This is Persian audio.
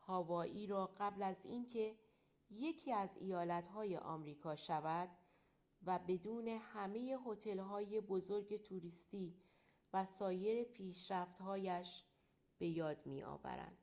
هاوایی را قبل از اینکه یکی از ایالت‌های امریکا شود و بدون همه هتل‌های بزرگ توریستی و سایر پیشرفت‌هایش به یاد می‌آورند